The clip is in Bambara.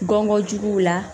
Gɔngɔn juguw la